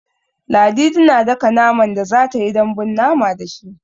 Ladidi tana daka naman da za ta yi dambun mama da shi.